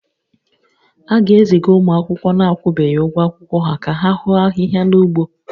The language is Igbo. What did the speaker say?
A ga-eziga ụmụ akwụkwọ na-akwụbeghị ụgwọ akwụkwọ ha ka ha hoo ahịhịa n'ugbo